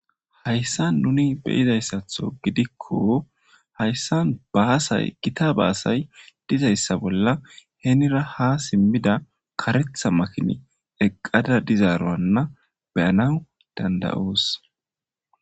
Hayssa nuni beyizayssatho gidikko hayssa baasay gita baasay dizayssa bolla heenira ha simmida karetha makini eqqada dizaaroanna beyana dandayoos.